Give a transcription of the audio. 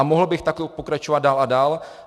A mohl bych takto pokračovat dál a dál.